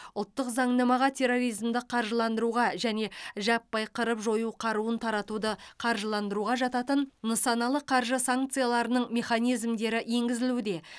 ұлттық заңнамаға терроризмді қаржыландыруға және жаппай қырып жою қаруын таратуды қаржыландыруға жататын нысаналы қаржы санкцияларының механизмдері енгізілуде